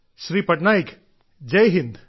Shri Patnaik Jaihind